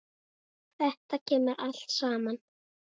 Þetta kemur allt saman.